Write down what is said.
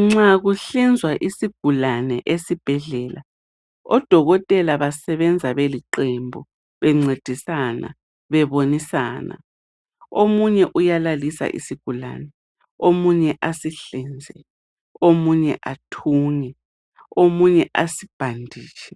Nxa kuhlinzwa isigulane esibhedlela, odokotela basebenza beliqembu bencedisana, bebonisana. Omunye uyalalisa isigulane, omunye asihlinze, omunye athunge, omunye asibhaditshe.